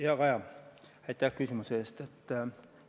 Hea Kaja, aitäh küsimuse eest!